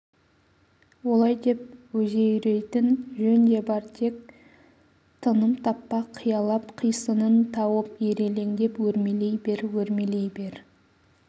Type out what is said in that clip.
олай деп өзеурейтін жөн де бар тек тыным таппа қиялап қисынын тауып ирелеңдеп өрмелей бер өрмелей бер